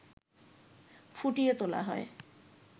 ফুটিয়ে তোলা হয়